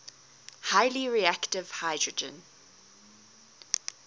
highly reactive hydrogen